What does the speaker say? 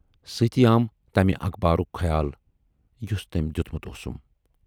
سۭتی آم تمہِ اخبارُک خیال یُس تٔمۍ دٮُ۪تمُت اوسُم۔